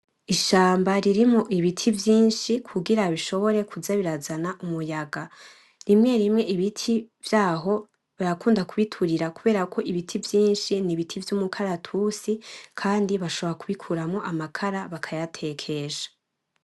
Ishamba ririmwo ibiti vyinshi kugira bishobore kuza birazana umuyaga rimwe rimwe ibiti vyaho barakunda kubuturira kuberako ibiti vyinshi nibiti vyumukaratusi Kandi bashobora kubikuramwo amakara bakayatekesha .